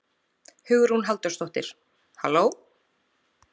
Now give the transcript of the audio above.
Hugrún Halldórsdóttir: Halló?